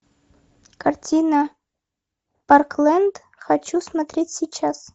картина парклэнд хочу смотреть сейчас